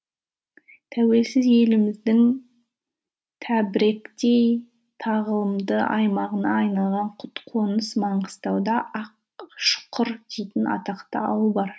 тәуелсіз еліміздің тәберіктей тағылымды аймағына айналған құт қоныс маңғыстауда ақшұқыр дейтін атақты ауыл бар